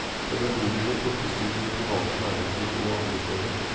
Pedagogene plukkes til det private næringsliv og andre steder.